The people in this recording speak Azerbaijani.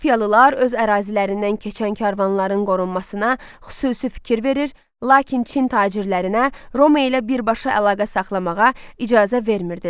Parfiyalılar öz ərazilərindən keçən karvanların qorunmasına xüsusi fikir verir, lakin Çin tacirlərinə Roma ilə birbaşa əlaqə saxlamağa icazə vermirdilər.